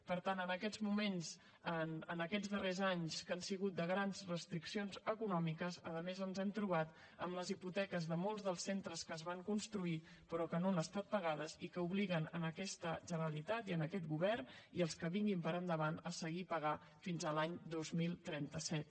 per tant en aquests moments en aquests darrers anys que han sigut de grans restriccions econòmiques a més ens hem trobat amb les hipoteques de molts dels centres que es van construir que no han estat pagades i que obliguen aquesta generalitat i aquest govern i els que vinguin endavant a seguir pagant les fins a l’any dos mil trenta set